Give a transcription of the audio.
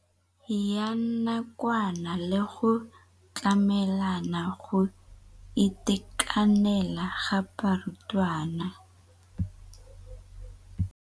Ya nakwana le go tlamela go itekanela ga barutwana.